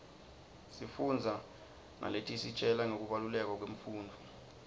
sifundza naletisitjela ngekubaluleka kwemfundvo